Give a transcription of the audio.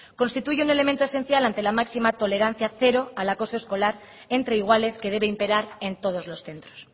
constituye un elemento esencial ante la máxima tolerancia cero al acoso escolar entre iguales que debe imperar en todos los centros